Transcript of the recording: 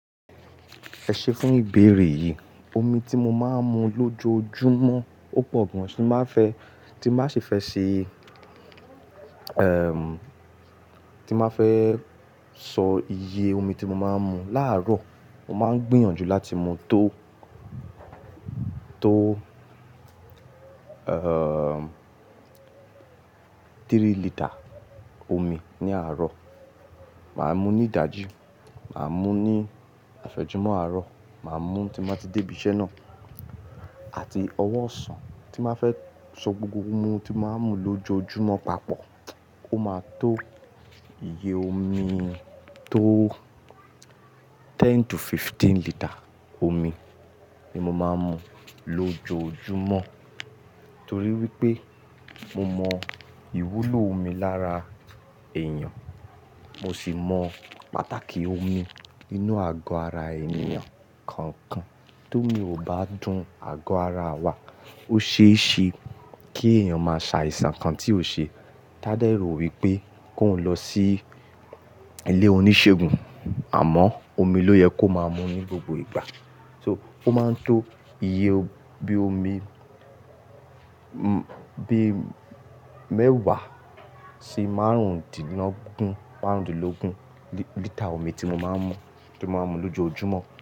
Ẹ ṣe fún ìbéèrè yìí, omi tí mo máa ń mu lójoojúmọ́ ó pọ̀ gan tí máa fẹ́, tín báa ṣi fẹ́ ṣe, ẹm, tín báa fẹ́ sọ iye omi tí mo máa ń mu. Láàárọ̀ mo máa ń gbìyànjú láti mu tó, tó, ẹm, three litre omi ní àárọ̀. Màá mú ní ìdájí, màá mú ní àfẹ́jùmọ́ àárọ̀, màá mú tí mo bá ti débí iṣẹ́ náà àti ọwọ́ ọ̀sán. Tín bàá fẹ́ sọ gbogbo omi tí màá ń mu lójoojúmọ́ papọ̀, ó máa tó iye omi tó ten to fifteen litre omi ni mo máa ń mu lójoojúmọ́. Nítorí wípé mo mọ ìwúlò omi lára èèyàn, mo sì mọ pàtàkì omi inú àgọ́ ara ènìyàn. Kankan tómi ò bá dùn àgọ́ ara wa, ó ṣe é ṣe kí èèyàn máa ṣàìsàn kan tí ò ṣe. Tádẹ̀ rò wípé kóun lọ sí ilé oníṣègùn àmọ́ omi ló yẹ kó máa mu ní gbogbo ìgbà. So ó máa ń tó iye bí omi, bí mẹ́wàá sí márùndínlógún, márùndínlógún litre omi tí mo máa ń mu, tí mo máa ń mu lójoojúmọ́